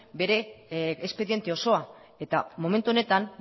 bere espediente osoa eta momentu honetan